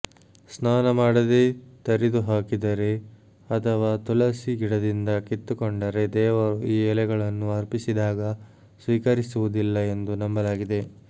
ಸ್ನಾನ ಮಾಡದೆ ತರಿದುಹಾಕಿದರೆ ಅಥವಾ ತುಳಸಿ ಗಿಡದಿಂದ ಕಿತ್ತುಕೊಂಡರೆ ದೇವರು ಈ ಎಲೆಗಳನ್ನು ಅರ್ಪಿಸಿದಾಗ ಸ್ವೀಕರಿಸುವುದಿಲ್ಲ ಎಂದು ನಂಬಲಾಗಿದೆ